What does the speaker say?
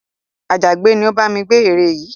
Àjàgbẹ́ ni ó bá mi gbẹ́ ère yìí